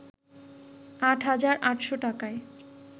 ৮হাজার ৮শ’ টাকায়